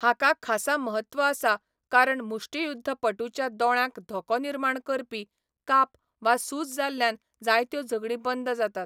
हाका खासा महत्व आसा कारण मुष्टियुध्दपटूच्या दोळ्यांक धोको निर्माण करपी काप वा सुज जाल्ल्यान जायत्यो झगडीं बंद जातात.